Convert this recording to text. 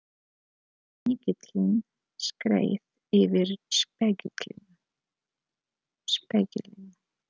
Snigillinn skreið yfir spegilinn.